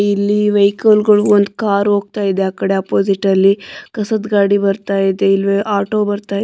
ಇಲ್ಲಿ ವೆಹಿಕಲ್ ಗಳು ಒಂದು ಕಾರು ಹೋಗ್ತಾ ಇದೆ ಆ ಕಡೆ ಆಪೋಸಿಟ್ ಅಲ್ಲಿ ಕಸದ ಗಾಡಿ ಬರ್ತಾ ಇದೆ ಆಟೋ ಬರ್ತಾ ಇದೆ.